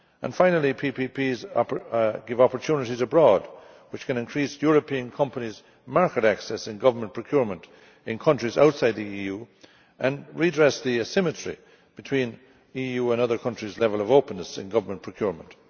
Finally, PPPs give opportunities abroad, which can increase European companies' market access in government procurement in countries outside the EU and redress the asymmetry between EU and other countries' levels of openness in government procurement.